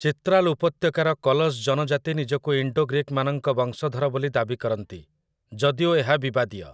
ଚିତ୍ରାଲ୍ ଉପତ୍ୟକାର କଲଶ ଜନଜାତି ନିଜକୁ ଇଣ୍ଡୋ-ଗ୍ରୀକ୍‌ମାନଙ୍କ ବଂଶଧର ବୋଲି ଦାବି କରନ୍ତି, ଯଦିଓ ଏହା ବିବାଦୀୟ ।